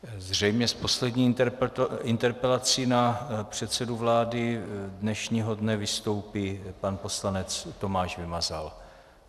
Zřejmě s poslední interpelací na předsedu vlády dnešního dne vystoupí pan poslanec Tomáš Vymazal.